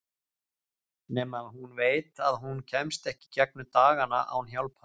Nema hún veit að hún kemst ekki í gegnum dagana án hjálpar.